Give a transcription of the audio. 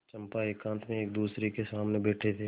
चंपा एकांत में एकदूसरे के सामने बैठे थे